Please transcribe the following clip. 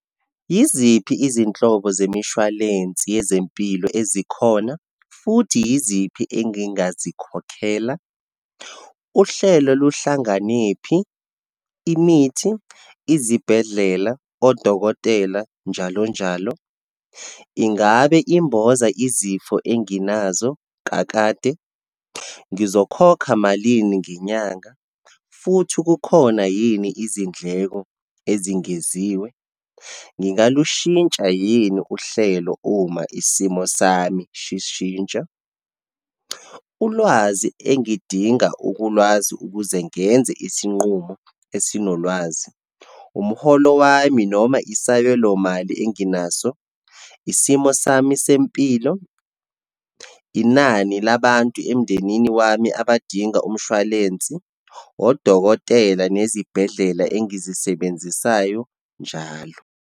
Yiziphi izinhlobo zemishwalensi yezempilo ezikhona, futhi yiziphi engingazikhokhela? Uhlelo luhlanganephi, imithi, izibhedlela, odokotela, njalo njalo. Ingabe imbova izifo enginazo kakade, ngizokhokha malini ngenyanga, futhi kukhona yini izindleko ezingeziwe, ngingalushintsha yini uhlelo uma isimo sami shishintsha? Ulwazi engidinga ukulwazi ukuze ngenze isinqumo esinolwazi, umholo wami, noma isabelomali enginaso, isimo sami sempilo, inani labantu emndenini wami abadinga umshwalensi, odokotela nezibhedlela engizisebenzisayo njalo.